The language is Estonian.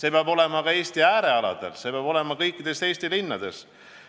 Elu peab olema ka Eesti äärealadel, see peab olema kõikides Eesti linnades.